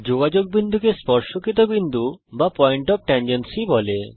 যোগাযোগ বিন্দুকে স্পর্শকিত বিন্দু বলা হয়